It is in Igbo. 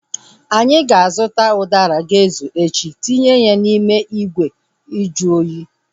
Anyị ga-azụta udara ga-ezu echi tinye ya n'ime ìgwè nju oyi